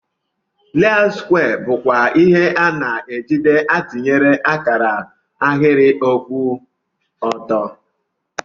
Leọut skwee bukwa ihe ana ejide atinye akara ahiri kwụ ọtọ.